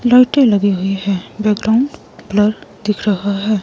लौटे लगे हुए हैं बैकग्राउंड ब्लर दिख रहा है।